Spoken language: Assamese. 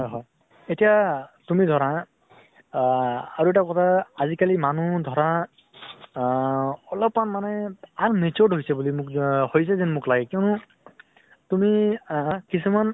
হয় হয় । এতিয়া তুমি ধৰা আহ আৰু এটা কথা আজি কালি মানুহ ধৰা আহ অলপ্মান মানে matured হৈছে বুলি মোল জা হৈছে যেন মোক লাগে। কিয়্নো তুমি আহ কিছুমান